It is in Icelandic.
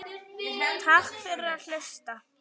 Takk fyrir að hlusta.